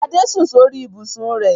Gbadé sùn sórí ibùsùn rẹ̀.